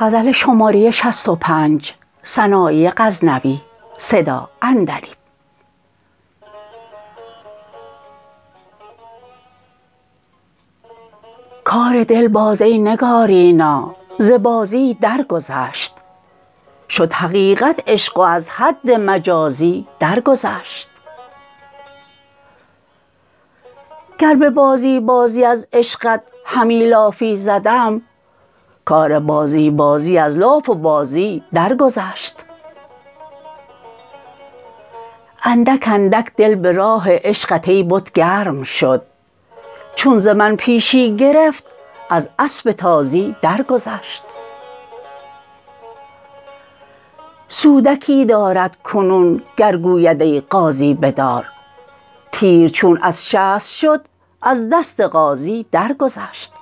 کار دل باز ای نگارینا ز بازی در گذشت شد حقیقت عشق و از حد مجازی در گذشت گر به بازی بازی از عشقت همی لافی زدم کار بازی بازی از لاف و بازی در گذشت اندک اندک دل به راه عشقت ای بت گرم شد چون ز من پیشی گرفت از اسب تازی در گذشت سودکی دارد کنون گر گوید ای غازی بدار تیر چون از شست شد از دست غازی در گذشت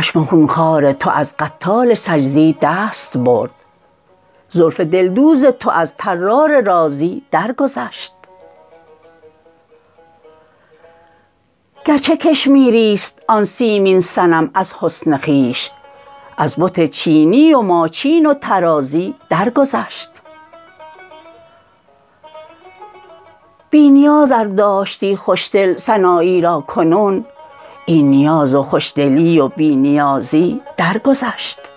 چشم خون خوار تو از قتال سجزی دست برد زلف دل دوز تو از طرار رازی در گذشت گر چه کشمیری ست آن سیمین صنم از حسن خویش از بت چینی و ماچین و طرازی در گذشت بی نیاز ار داشتی خوش دل سنایی را کنون این نیاز و خوش دلی و بی نیازی در گذشت